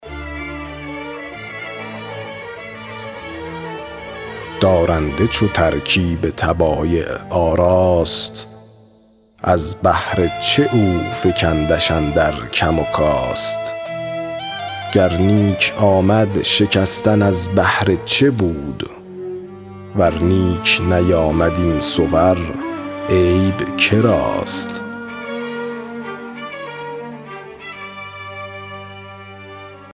دارنده چو ترکیب طبایع آراست از بهر چه افکندش اندر کم و کاست گر نیک آمد شکستن از بهر چه بود ور نیک نیامد این صور عیب که راست